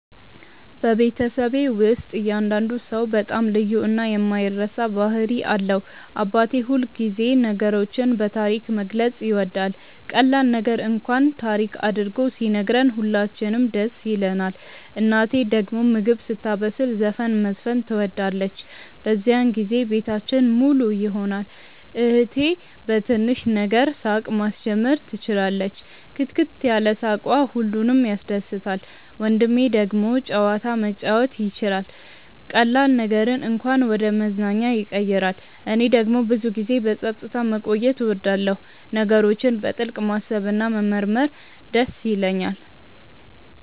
በቤተሰቤ ውስጥ እያንዳንዱ ሰው በጣም ልዩ እና የማይረሳ ባህሪ አለው። አባቴ ሁልጊዜ ነገሮችን በታሪክ መግለጽ ይወዳል፤ ቀላል ነገር እንኳን ታሪክ አድርጎ ሲነግረን ሁላችንም ደስ ይለንናል። እናቴ ደግሞ ምግብ ስታበስል ዘፈን መዝፈን ትወዳለች፤ በዚያን ጊዜ ቤታችን ሙሉ ይሆናል። እህቴ በትንሽ ነገር ሳቅ ማስጀመር ትችላለች፣ ክትክት ያለ ሳቅዋ ሁሉንም ያስደስታል። ወንድሜ ደግሞ ጨዋታ መጫወት ይችላል፤ ቀላል ነገርን እንኳን ወደ መዝናኛ ያቀይራል። እኔ ደግሞ ብዙ ጊዜ በጸጥታ መቆየት እወዳለሁ፣ ነገሮችን በጥልቅ ማሰብ እና መመርመር ይደስ ይለኛል።